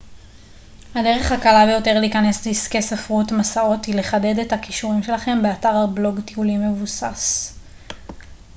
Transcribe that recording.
הדרך הקלה ביותר להיכנס לעסקי ספרות מסעות היא לחדד את הכישורים שלכם באתר בלוג טיולים מבוסס